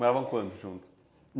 Moravam quantos juntos?